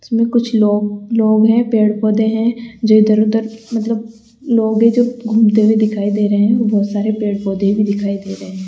इसमें कुछ लोग-लोग है पेड़-पौधे हैं जो इधर-उधर मतलब लोग है जो घूमते हुए दिखाई दे रे हैं बहुत सारे पेड़-पौधे भी दिखाई दे रहे --